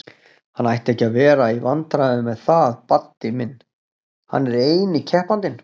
Hann ætti ekki að vera í vandræðum með það Baddi minn, hann er eini keppandinn!